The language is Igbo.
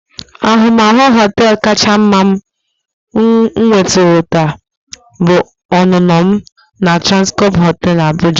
Ahụmahụ họteelu kacha mma m nwetụrụla bụ ọnụnọ m na Transcorp hotel Abuja.